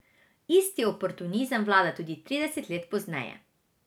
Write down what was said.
Isti oportunizem vlada tudi trideset let pozneje.